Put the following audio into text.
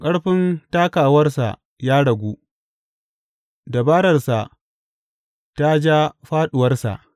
Ƙarfin takawarsa ya ragu; dabararsa ta ja fāɗuwarsa.